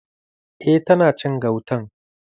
Eh tana cin gautan.